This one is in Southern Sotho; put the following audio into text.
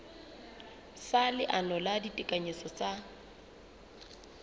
sa leano la ditekanyetso tsa